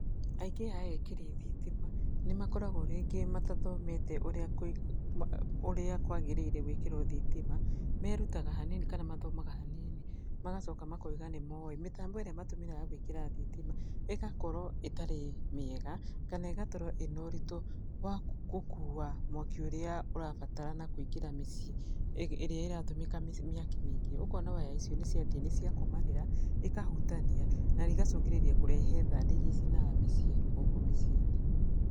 Aingĩ a ekĩri thitima nĩ makoragwo rĩngĩ matathomete ũrĩa ũrĩa kwagĩrĩire gwĩkĩrwo thitima, merutaga hanini kana mathomaga hanini, magacoka makauga nĩ moĩ. Mĩtambo ĩrĩa matũmĩraga gwĩkĩra thitima, ĩgakorwo ĩtarĩ mĩega kana ĩgatorwo ĩna ũritũ wa gũkua mwaki ũrĩa ũrabatarana kũingĩra mĩciĩ ĩrĩa ĩratũmĩka mĩaki mĩingĩ. Ũkona waya icio nĩ ciathiĩ nĩ ciakomanĩra, ikahutania na igacũngĩrĩria kũrehe thandĩ iria icinaga mĩciĩ gũkũ mĩciĩ-inĩ.